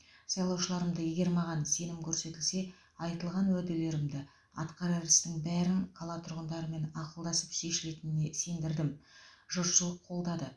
сайлаушыларымды егер маған сенім көрсетілсе айтылған уәделерімді атқарар істің бәрін қала тұрғындарымен ақылдасып шешілетініне сендірдім жұртшылық қолдады